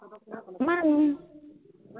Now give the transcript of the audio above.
মানো